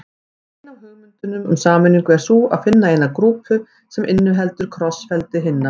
Ein af hugmyndunum um sameiningu er sú að finna eina grúpu sem inniheldur krossfeldi hinna.